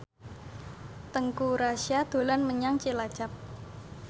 Teuku Rassya dolan menyang Cilacap